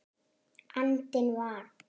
andinn var.